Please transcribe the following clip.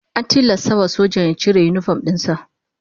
An tilasta wa sojan ya cire yinifom din sa